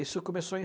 Isso começou em